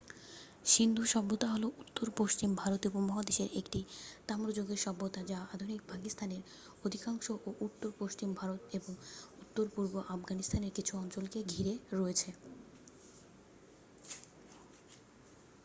সিন্ধু সভ্যতা হল উত্তর-পশ্চিম ভারতীয় উপমহাদেশের একটি তাম্রযুগের সভ্যতা যা আধুনিক-পাকিস্তানের অধিকাংশ ও উত্তর-পশ্চিম ভারত এবং উত্তর-পূর্ব আফগানিস্তানের কিছু অঞ্চলকে ঘিরে রয়েছে